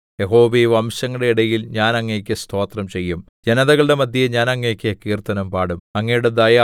യഹോവേ വംശങ്ങളുടെ ഇടയിൽ ഞാൻ അങ്ങേക്കു സ്തോത്രം ചെയ്യും ജനതകളുടെ മദ്ധ്യേ ഞാൻ അങ്ങേക്ക് കീർത്തനം പാടും